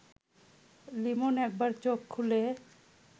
লিমন একবার চোখ খুলে